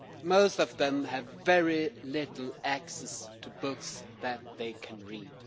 Most of them have very little access to books that they can read.